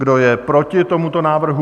Kdo je proti tomuto návrhu?